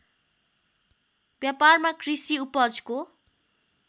व्यापारमा कृषि उपजको